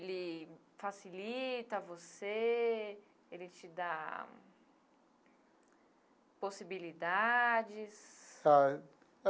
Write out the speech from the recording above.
ele facilita você, ele te dá possibilidades.